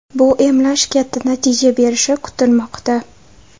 Bu emlash katta natija berishi kutilmoqda.